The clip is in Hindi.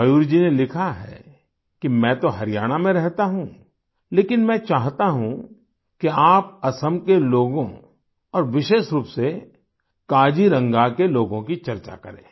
मयूर जी ने लिखा है कि मैं तो हरियाणा में रहता हूँ लेकिन मैं चाहता हूँ कि आप असम के लोगों और विशेष रूप से काजीरंगा के लोगों की चर्चा करें